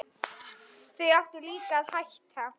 Þá áttu líka að hætta.